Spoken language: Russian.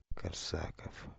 корсаков